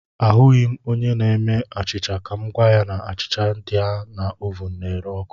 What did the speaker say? Ahụghị m onye na-eme achịcha ka m gwa ya na achịcha dị na ovụn na-ere ọkụ